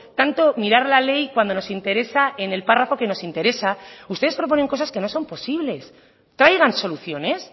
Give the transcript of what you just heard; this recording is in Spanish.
tanto mirar la ley cuando nos interesa en el párrafo que nos interesa ustedes proponen cosas que no son posibles traigan soluciones